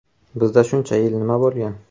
Bizda shuncha yil nima bo‘lgan?